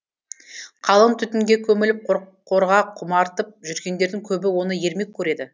қалың түтінге көміліп қорқорға құмартып жүргендердің көбі оны ермек көреді